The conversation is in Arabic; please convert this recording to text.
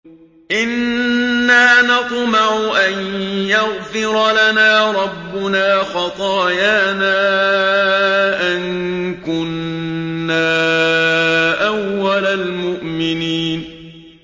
إِنَّا نَطْمَعُ أَن يَغْفِرَ لَنَا رَبُّنَا خَطَايَانَا أَن كُنَّا أَوَّلَ الْمُؤْمِنِينَ